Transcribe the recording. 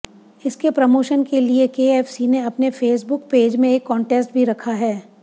इसके प्रमोशन के लिए केएफसी ने अपने फेसबुक पेज में एक कांटेस्ट भी रखा है